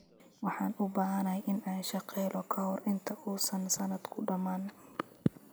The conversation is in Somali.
Waxaan u baahanahay in aan shaqo helo ka hor inta uusan sannadku dhammaan.